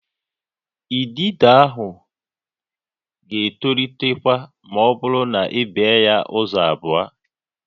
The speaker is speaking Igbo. Idido a ga-etolitekwa ma ọ bụrụ na i bee ya ụzọ abụọ